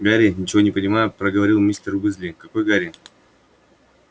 гарри ничего не понимая проговорил мистер уизли какой гарри